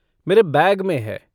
मेरे बैग में है।